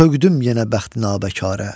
Sökdüm yenə bəxti nabəkərə.